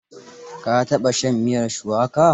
Ka taɓa shan miyar shuwaka?